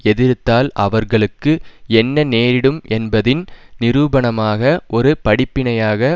எதிர்த்தால் அவர்களுக்கு என்ன நேரிடும் என்பதின் நிரூபணமாக ஒரு படிப்பினையாக